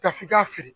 Ka f'i k'a feere